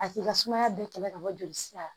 A k'i ka sumaya bɛɛ kɛlɛ ka bɔ joli sira la